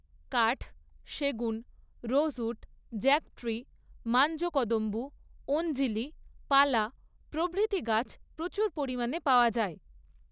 কাঠ, সেগুন, rosewood, jack tree, মাঞ্জকদম্বু, অঞ্জিলি, পালা প্রভৃতি গাছ প্রচুর পরিমাণে পাওয়া যায়।